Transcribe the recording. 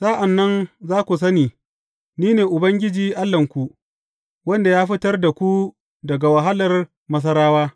Sa’an nan za ku sani Ni ne Ubangiji Allahnku, wanda ya fitar da ku daga wahalar Masarawa.